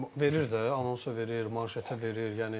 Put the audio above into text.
Verir də, anonsa verir, manşetə verir, yəni.